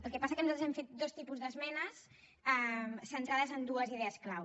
el que passa que nosaltres hem fet dos tipus d’esmenes centrades en dues idees clau